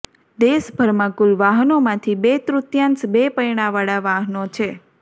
દેશભરમાં કુલ વાહનોમાંથી બે તૃતીયાંશ બે પૈડાવાળા વાહન છે